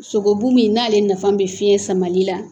Sogobu min n'ale nafa bɛ fiɲɛ samali la